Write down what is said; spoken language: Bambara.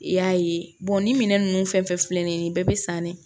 I y'a ye ni minɛn nunnu fɛn fɛn filɛ nin ye nin bɛɛ be san ne